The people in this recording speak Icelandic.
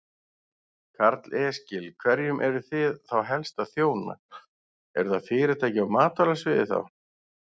Karl Eskil: Hverjum eruð þið þá helst að þjóna, eru það fyrirtæki á matvælasviði þá?